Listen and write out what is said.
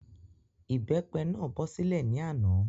Ìbépe náà bọ́ sílẹ̀ ní àná